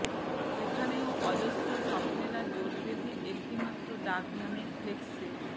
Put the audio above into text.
সেখানেও অজস্র স্বপ্নেরা জোট বেঁধে একটি মাত্র ডাকনামের ফ্লেক্সে